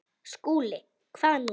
SKÚLI: Hvað nú?